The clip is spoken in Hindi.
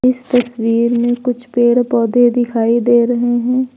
इस तस्वीर में कुछ पेड़ पौधे दिखाई दे रहे हैं।